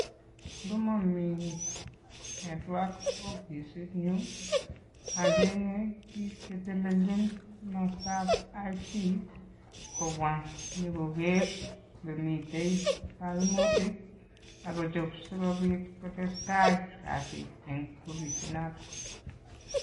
Ngomomi network opisinyun ocheng'e biik chetelelchin komostap IT kobwa inyokoker yemiten koimutik ak kochob sikobit kotestai kasit en opisinoton.